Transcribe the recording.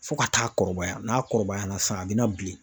Fɔ ka taa kɔrɔbaya n'a kɔrɔbayara sisan a be na bilen